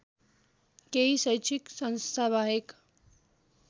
केही शैक्षिक संस्थाबाहेक